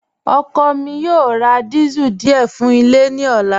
Ọkọ mi yoo rá díésẹ̀l díẹ̀ fún ilẹ̀ ní ọ̀là.